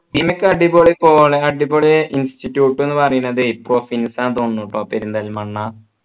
നിനക്ക് അടിപൊളി കോളേ അടിപൊളി institute ന്നു പറയുന്നതേ പ്രൊഫിൻസ് ആണ് ന്നു തോന്നുന്നു പെരിന്തൽമണ്ണ